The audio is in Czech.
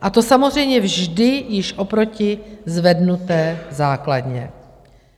A to samozřejmě vždy již oproti zvednuté základně,